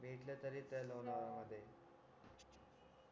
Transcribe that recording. भेटलं तरी त्या लोणावळा मध्ये